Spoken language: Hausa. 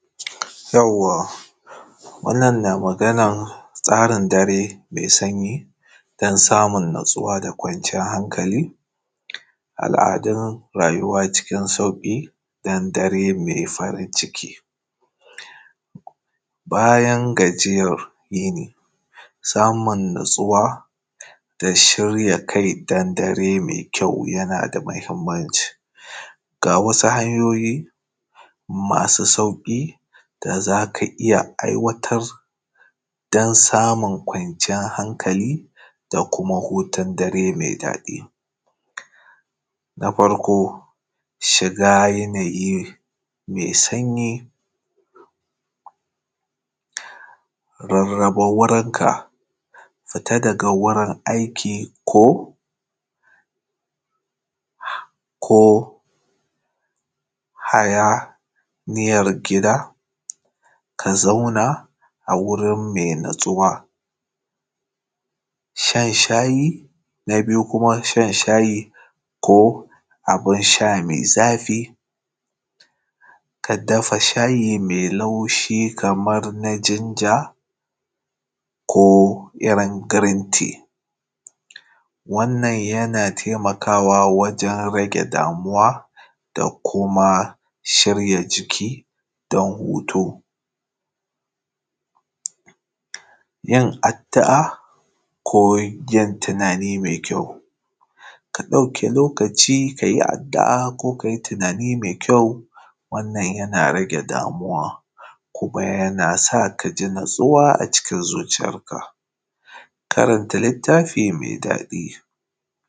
Wannan na magan tsarin dare me sanyi dan samun natsuwa da kwanciyan hankali, al’adun rayuwa cikin sauƙi da an dare me farin ciki bayan gajiyan yini, samun natsuwa da shirya kai dan dare me kyau yana da mahimmanci, ga wasu hanyoyi masu sauƙi da za ka iya aiwatarwa dan samun kwanciyan hankali da kuma hutun dare me daɗi. Na farko shiga yanayi me sanyi, rarraba wurinka fita daga wurin aiki ko hayaniyar gida ka zauna a wuri me natsuwa, shan shayi na biyu kuma shanshayi ko abin sha me zafi ka dafa shayi me laushi kamar na jinja ko irin girin ti, wannan yana taimakawa wajen rage damuwa da kuma shirya jiki don hutu yin addu’a ko yin tunani me kyau. Ka ɗauki lokaci ka yi addu’a ko ka yi tunani me kyau, wannan yana rage damuwa kuma yana sa ka ji natsuwa a zuciyarka, karanta littafi me daɗi.